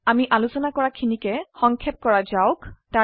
আমি আলচোন কৰা খিনিক সংক্ষেপ কৰা যাওক